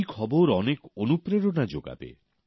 এই খবর অনেকের মধ্যে অনুপ্রেরণা যোগাবে